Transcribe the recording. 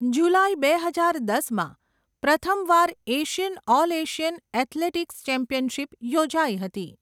જુલાઈ બે હજાર દસમાં, પ્રથમવાર Asian all Asian athletics championship યોજાઈ હતી.